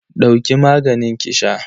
Dauki maganin ki sha